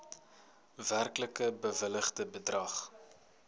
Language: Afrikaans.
werklik bewilligde bedrag